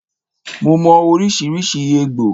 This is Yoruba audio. Mo mò oríṣiríṣi egbò